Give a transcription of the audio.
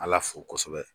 Ala fo kosɛbɛ